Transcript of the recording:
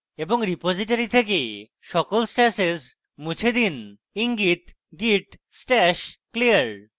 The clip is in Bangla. এবং repository থেকে সকল stashes মুছে দিন ইঙ্গিতgit stash clear